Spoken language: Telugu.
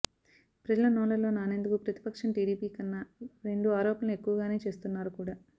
ప్రజల నోళ్లలో నానేందుకు ప్రతిపక్షం టీడీపీ కన్నా రెండు ఆరోపణలు ఎక్కువగానే చేస్తున్నారు కూడా